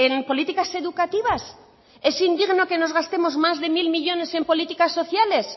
en políticas educativas es indigno que nos gastemos más de mil millónes en políticas sociales